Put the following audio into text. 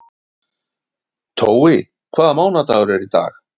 Tói, hvaða mánaðardagur er í dag?